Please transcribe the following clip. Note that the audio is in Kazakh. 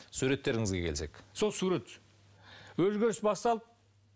суреттеріңізге келсек сол сурет өзгеріс басталды